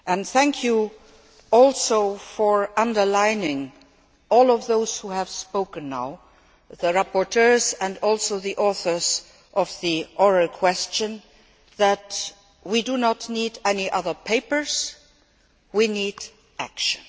Thank you also for underlining all of those who have spoken, the rapporteurs and also the authors of the oral question that we do not need any other papers, we need action.